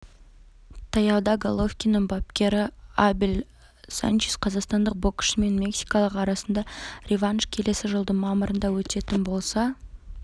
таяуда головкиннің бапкері абель санчес қазақстандық боксшы мен мексикалық арасында реванш келесі жылдың мамырында өтетін болса